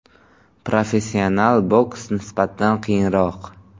Professional boks nisbatan qiyinroq.